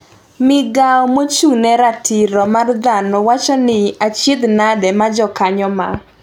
migao mochung ne ratiro mar dhano wacho ni achiedh nadi ma jokanyo ma